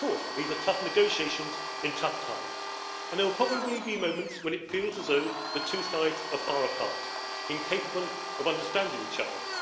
These are tough negotiations in tough times, and there will probably be moments when it feels as though the two sides are far apart, incapable of understanding each other.